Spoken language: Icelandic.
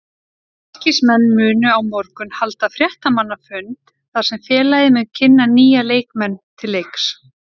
Fylkismenn munu á morgun halda fréttamannafund þar sem félagið mun kynna nýja leikmenn til leiks.